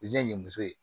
Jɛn ye muso ye